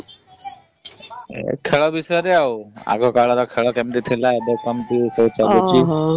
ଏ ଖେଳ ବିଷୟରେ ଆଉ ଆଗ କାଳର ଖେଳ କେମିତି ଥିଲା ଏବେ କେମିତି